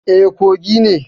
E, Kogi ne.